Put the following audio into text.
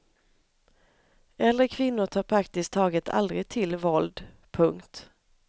Äldre kvinnor tar praktiskt taget aldrig till våld. punkt